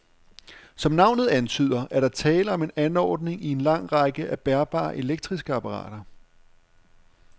Som navnet antyder, er der tale om en anordning i en lang række af bærbare elektriske apparater.